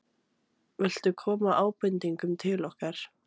Viltu koma ábendingum til okkar?